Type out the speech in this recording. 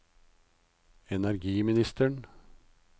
energiministeren